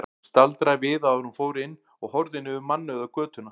Hún staldraði við áður en hún fór inn og horfði niður mannauða götuna.